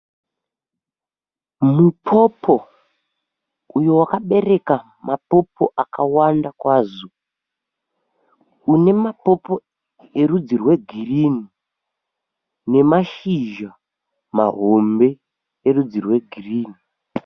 Mupopo uyo wakapereka mapopo akawanda kwazvo. Mune mapopo erudzi rwegirinhi, nemashizha mahombe erudzi rwegirinhi.